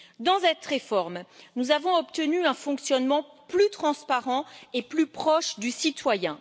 Dans cette réforme, nous avons obtenu un fonctionnement plus transparent et plus proche du citoyen.